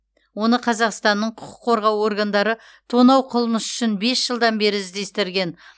оны қазақстанның құқық қорғау органдары тонау қылмысы үшін бес жылдан бері іздестірген